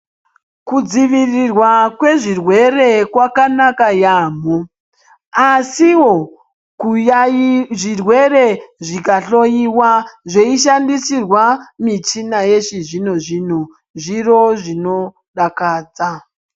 Kudzivirirwa kwezvirwere kwakanaka yaamho, asiwo kuyaii zvirwere zvikahloiwa zveishandisirwa michina yechizvino-zvino ,zviro zvinodakadza.